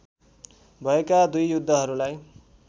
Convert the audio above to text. भएका दुई युद्धहरूलाई